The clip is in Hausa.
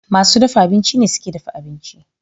Masu dafa abinci ne suke dafa abinci.